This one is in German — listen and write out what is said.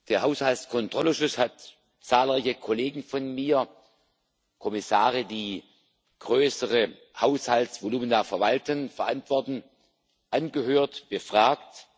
Der Haushaltskontrollausschuss hat zahlreiche Kollegen von mir Kommissare, die größere Haushaltsvolumina verwalten und verantworten angehört, befragt.